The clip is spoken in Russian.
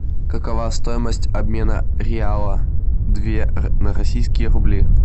какова стоимость обмена реала две на российские рубли